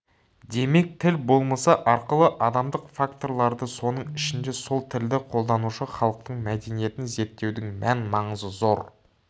демек тіл болмысы арқылы адамдық факторларды соның ішінде сол тілді қолданушы халықтың мәдениетін зерттеудің мән маңызы зор